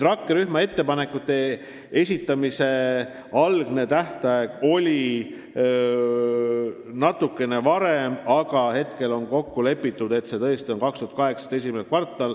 Rakkerühma ettepanekute esitamise algne tähtaeg oli natukene varem, aga praegu on tõesti kokku lepitud, et see on 2018 esimene kvartal.